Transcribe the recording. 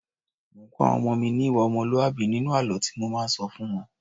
Mò ń́ kọ́ àwọn ọmọ mi ní ìwà ọmọlúàbí nínú àlọ́ tí mo máa ń sọ fún wọ́n.